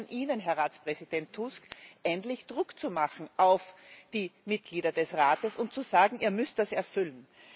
Da liegt es an Ihnen, Herr Ratspräsident Tusk, endlich Druck zu machen auf die Mitglieder des Rates und zu sagen Ihr müsst das erfüllen.